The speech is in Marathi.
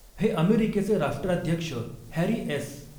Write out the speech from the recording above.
हे अमेरिकेचे राष्ट्राध्यक्ष हॅरी एस.